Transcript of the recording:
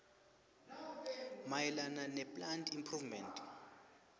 mayelana neplant improvement